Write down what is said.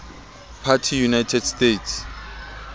party united states